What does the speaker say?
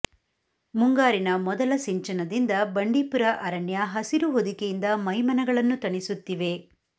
ಮುಂಗಾರಿನ ಮೊದಲ ಸಿಂಚನದಿಂದ ಬಂಡೀಪುರ ಅರಣ್ಯ ಹಸಿರು ಹೊದಿಕೆಯಿಂದ ಮೈಮನಗಳನ್ನು ತಣಿಸುತ್ತಿವೆ